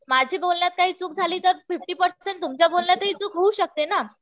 माझी बोलण्यात काही चूक झाली तर फिफ्टी पर्सेंट तुमच्या बोलण्यातही चूक होऊच शकते ना.